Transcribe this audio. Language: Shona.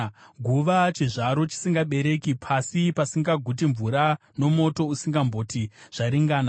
guva, chizvaro chisingabereki, pasi pasingaguti mvura, nomoto usingamboti, ‘Zvaringana!’